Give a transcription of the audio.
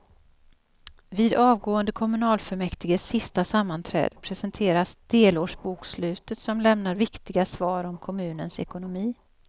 Vid avgående kommunfullmäktiges sista sammanträde presenteras delårsbokslutet som lämnar viktiga svar om kommunens ekonomi.